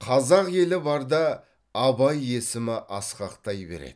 қазақ елі барда абай есімі асқақтай береді